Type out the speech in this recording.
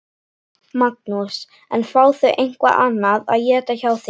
Magnús: En fá þau eitthvað annað að éta hjá þér?